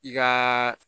I kaaa